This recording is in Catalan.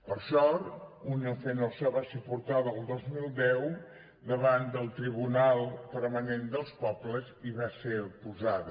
per sort unión fenosa va ser portada el dos mil deu davant del tribunal permanent dels pobles i va ser acusada